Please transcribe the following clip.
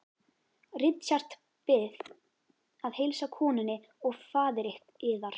Richard Bið að heilsa konunni og faðir yðar.